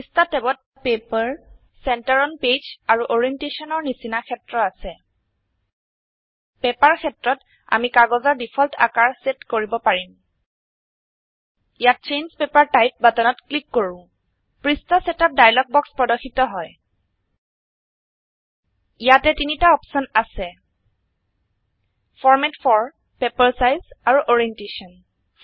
পৃষ্ঠা ট্যাবত paper center on page আৰু Orientationৰ নিচিনা ক্ষেত্ৰ আছে পেপাৰ ক্ষেত্ৰত আমি কাগজৰ ডিফল্ট আকাৰ সেট কৰিব পাৰিম ইয়াত চেঞ্জ পেপাৰ টাইপ বাটনত ক্লিক কৰো পৃষ্ঠা সেটআপ ডায়লগ বক্স প্ৰৰ্দশিত হয় ইয়াতে ৩ টা অপশন আছে ফৰমাত ফৰ পেপাৰ চাইজ আৰু অৰিয়েণ্টেশ্যন